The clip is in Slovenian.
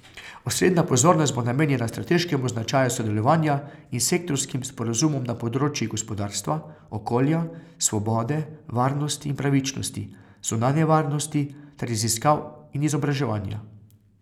Osrednja pozornost bo namenjena strateškemu značaju sodelovanja in sektorskim sporazumom na področjih gospodarstva, okolja, svobode, varnosti in pravičnosti, zunanje varnosti ter raziskav in izobraževanja.